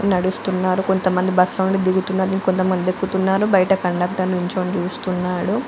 నడుస్తున్నారు కొంతమంది బస్సు లో నుండి దిగుతున్నారు ఇంకొంతమంది ఎక్కుతున్నారు బయట కండక్టర్ నిలపడి చూస్తున్నాడు .